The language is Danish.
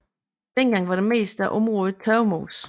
Dengang var det meste af området tørvemose